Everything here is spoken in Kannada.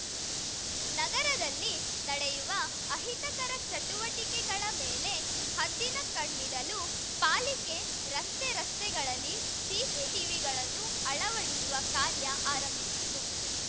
ನಗರದಲ್ಲಿ ನಡೆಯುವ ಅಹಿತಕರ ಚಟುವಟಿಕೆಗಳ ಮೇಲೆ ಹದ್ದಿನ ಕಣ್ಣಿಡಲು ಪಾಲಿಕೆ ರಸ್ತೆ ರಸ್ತೆಗಳಲ್ಲಿ ಸಿಸಿ ಟಿವಿಗಳನ್ನು ಅಳವಡಿಸುವ ಕಾರ್ಯ ಆರಂಭಿಸಿತ್ತು